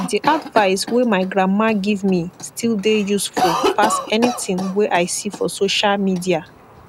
di advise wey mai grandma giv me still dey yusfull pass anytin wey i see for sosha midia